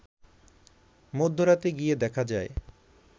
মধ্যরাতে গিয়ে দেখা যায়